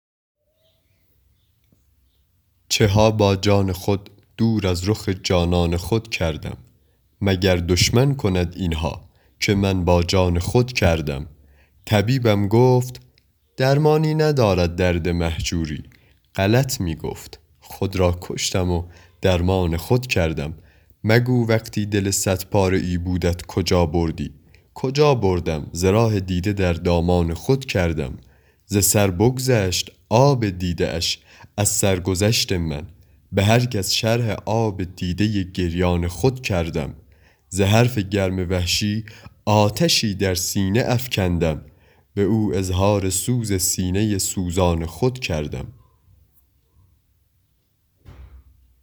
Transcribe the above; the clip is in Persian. چه ها با جان خود دور از رخ جانان خود کردم مگر دشمن کند این ها که من با جان خود کردم طبیبم گفت درمانی ندارد درد مهجوری غلط می گفت خود را کشتم و درمان خود کردم مگو وقتی دل صد پاره ای بودت کجا بردی کجا بردم ز راه دیده در دامان خود کردم ز سر بگذشت آب دیده اش از سرگذشت من به هر کس شرح آب دیده گریان خود کردم ز حرف گرم وحشی آتشی در سینه افکندم به او اظهار سوز سینه سوزان خود کردم